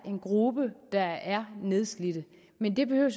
en gruppe der er nedslidte men det behøver